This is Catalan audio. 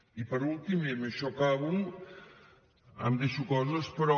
i per últim i amb això acabo em deixo coses però